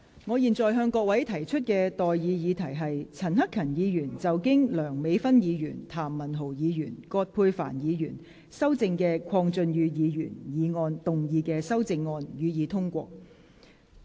我現在向各位提出的待議議題是：陳克勤議員就經梁美芬議員、譚文豪議員及葛珮帆議員修正的鄺俊宇議員議案動議的修正案，予以通過。